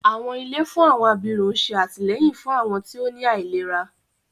Àwọn ilé fún àwọn abirùn ṣé àtìlẹ́yìn fún àwọn tí ó ní àìlera